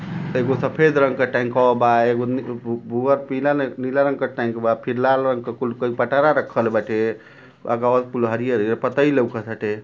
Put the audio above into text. त एगो सफेद रंग क टैंकवा बा। एगो बु भुवर पीला न नीला रंग क टैंक बा। फिर लाल रंग क कुल कई पटरा रखल बाटे। आगवा कुल हरियर हरियर पतई लउकत हटे।